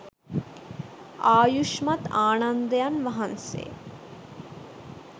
ආයුෂ්මත් ආනන්දයන් වහන්සේ